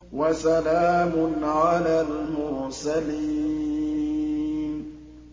وَسَلَامٌ عَلَى الْمُرْسَلِينَ